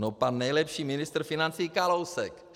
No pan nejlepší ministr financí Kalousek!